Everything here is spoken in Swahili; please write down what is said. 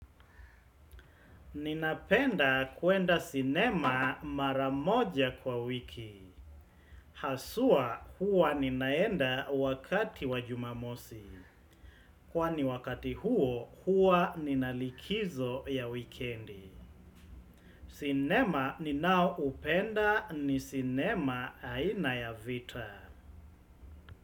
Ninapenda kuenda sinema mara moja kwa wiki. Haswa huwa ninaenda wakati wa jumamosi. Kwani wakati huo huwa nina likizo ya wikendi. Sinema ni nao upenda ni sinema aina ya vita.